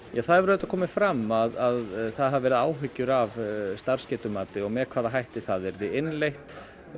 það hefur komið fram að það hafa verið áhyggjur af starfsgetumati með hvaða hætti það yrði innleitt